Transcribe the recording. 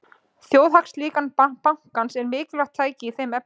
Þjóðhagslíkan bankans er mikilvægt tæki í þeim efnum.